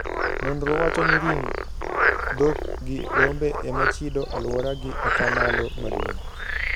Nonro wacho ni ring dhok gi rombe emachido aluora gi atamalo maduong`.